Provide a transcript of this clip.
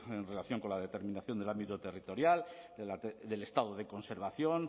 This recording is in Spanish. en relación con la determinación del ámbito territorial del estado de conservación